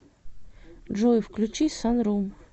джой включи санрум